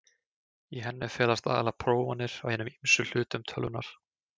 Í henni felast aðallega prófanir á hinum ýmsu hlutum tölvunnar.